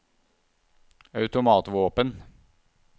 automatvåpen